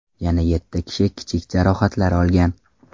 Yana yetti kishi kichik jarohatlar olgan.